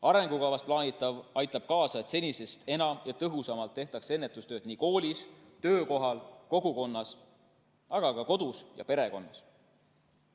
Arengukavas plaanitav aitab kaasa, et senisest enam ja tõhusamalt tehakse ennetustööd koolis, töökohal, kogukonnas, aga ka kodus ja perekonnas.